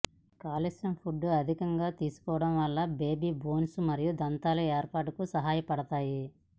calcium foods అధికంగా తీసుకోవడం వల్ల బేబీ బోన్స్ మరియు దంతాలు ఏర్పడుటకు సహాయపడుతాయి